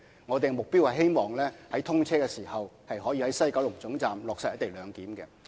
我們的目標是希望在通車時可以在西九龍總站落實"一地兩檢"。